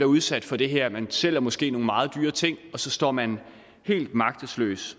udsat for det her man sælger måske nogle meget dyre ting og så står man helt magtesløs